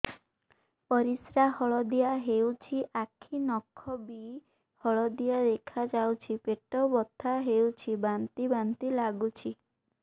ପରିସ୍ରା ହଳଦିଆ ହେଉଛି ଆଖି ନଖ ବି ହଳଦିଆ ଦେଖାଯାଉଛି ପେଟ ବଥା ହେଉଛି ବାନ୍ତି ବାନ୍ତି ଲାଗୁଛି